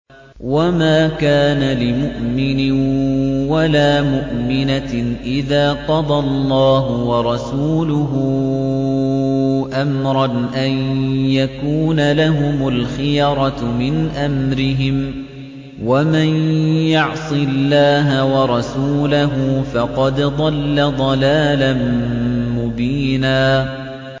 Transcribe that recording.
وَمَا كَانَ لِمُؤْمِنٍ وَلَا مُؤْمِنَةٍ إِذَا قَضَى اللَّهُ وَرَسُولُهُ أَمْرًا أَن يَكُونَ لَهُمُ الْخِيَرَةُ مِنْ أَمْرِهِمْ ۗ وَمَن يَعْصِ اللَّهَ وَرَسُولَهُ فَقَدْ ضَلَّ ضَلَالًا مُّبِينًا